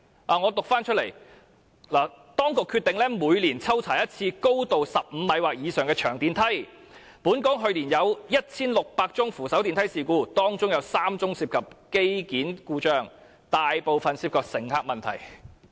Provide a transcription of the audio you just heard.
讓我讀出來，"當局決定每年抽查一次高度15米或以上的長電梯，本港去年有 1,600 宗扶手電梯事故，當中有3宗涉及機件故障，大部分涉及乘客問題。